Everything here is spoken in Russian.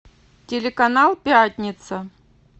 телеканал пятница